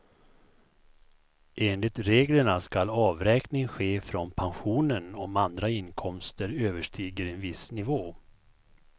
Enligt reglerna skall avräkning ske från pensionen om andra inkomster överstiger en viss nivå.